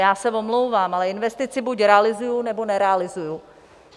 Já se omlouvám, ale investici buď realizuji, nebo nerealizuji.